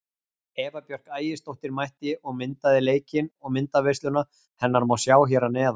Eva Björk Ægisdóttir mætti og myndaði leikinn og myndaveisluna hennar má sjá hér að neðan.